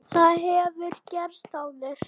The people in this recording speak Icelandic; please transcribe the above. Það hefur gerst áður.